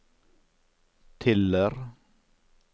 Tiller